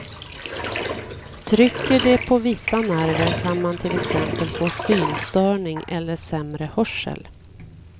Trycker det på vissa nerver kan man till exempel få synstörning eller sämre hörsel.